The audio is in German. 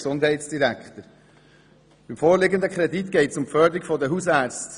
Im vorliegenden Kredit geht es um die Förderung der Hausärzte.